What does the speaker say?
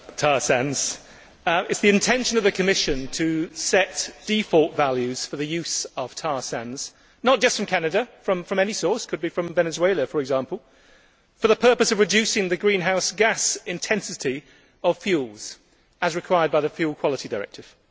Madam President, it is the intention of the Commission to set default values for the use of tar sands not just from Canada, but from any source, including Venezuela, for example for the purpose of reducing the greenhouse gas intensity of fuels, as required by the Fuel Quality Directive.